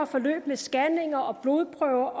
forløb med scanninger og blodprøver